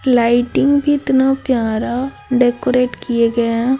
Lighting कितना प्यारा decorate किए गए है।